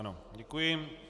Ano, děkuji.